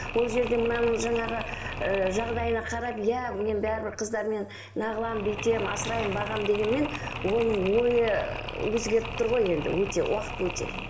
ол жерде мынаның жаңағы ыыы жағдайына қарап иә мен бәрібір қыздармен бүйтемін асыраймын бағамын дегенмен оның ойы өзгеріп тұр ғой енді өте уақыт өте